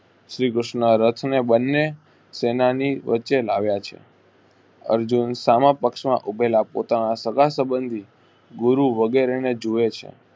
શ્રી કૃષ્ણ રથને બન્ને સેનાની વચ્ચે લાવ્યા છે. અર્જુન સામ પક્ષમાં ઉભેલા પોતાના સાગા સબંધી ગુરુ વગેરેને જુએ છે.